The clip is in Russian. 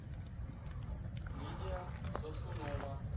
лидия сосунова